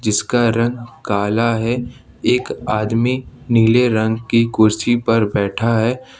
जिसका रंग काला है एक आदमी नीले रंग की कुर्सी पर बैठा है।